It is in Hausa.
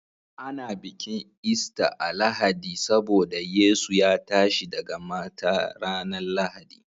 Ana bikin Easter a'Lahadi saboda Yesu ya tashi daga mata ranan Lahadi.